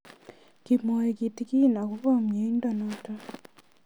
Kimwae kitig'in akopo miondo notok